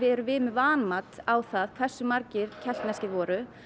erum við með vanmat á það hversu margir keltneskir voru